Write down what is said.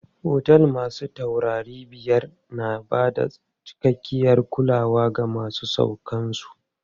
Otel masu taurari biyar na bada cikakkiyar kulawa ga masauƙan su.